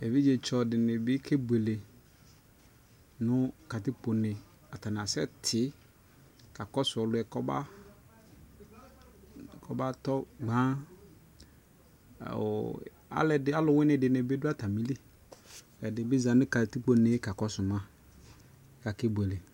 Evidze tsɔ di ni kɛ buele nu katikpo neAta ni asɛ ti ka kɔ su ɔli yɛ kɔ ba tɔ gbanƆ ɔlu wini di bi du ata mi liƐdi bi za nu katikpo ne kakɔ su ma ka kɛ buele